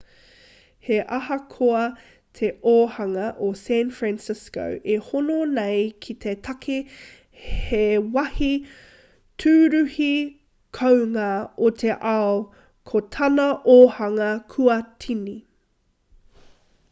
he ahakoa te ōhanga o san francisco e hono nei ki te take he wāhi tūruhi kounga o te ao ko tana ōhanga kua tini